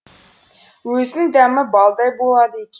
өзінің дәмі балдай болады